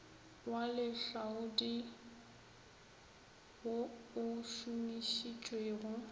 wa lehlaodi wo o šomišitšwego